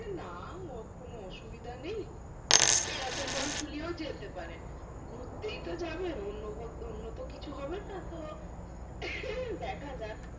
না ও কোনো অসুবিধা নেই হুম এরকম ভাবে ঝুলিয়েও যেতে পারে গুড়তেই তো যাবেন অন্য তো কিছু হবেনা তো দেখাযাক